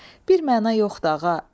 Bir məna yoxdur ağa.